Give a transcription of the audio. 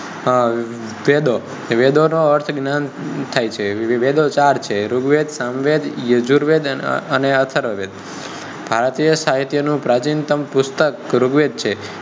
અમ વેદો વેદો નો અર્થ જ્ઞાન થાય છે વેદો ચાર છે ઋગ્વેદ સામવેદ યજુર્વેદ અને અથર્વવેદ ભારતીય સાહિત્ય નું પ્રાચિંતમ પુસ્તક ગુરુવેદ છે